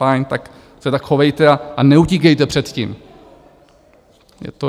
Fajn, tak se tak chovejte a neutíkejte před tím.